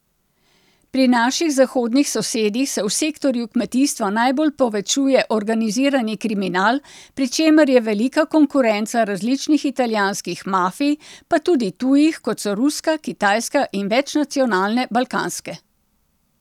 Pri naših zahodnih sosedih se v sektorju kmetijstva najbolj povečuje organizirani kriminal, pri čemer je velika konkurenca različnih italijanskih mafij, pa tudi tujih, kot so ruska, kitajska in večnacionalne balkanske.